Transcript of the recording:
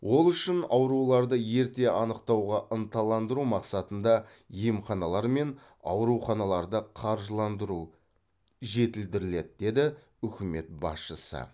ол үшін ауруларды ерте анықтауға ынталандыру мақсатында емханалар мен ауруханаларды қаржыландыру жетілдіріледі деді үкімет басшысы